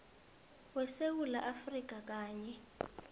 wesewula afrika kanye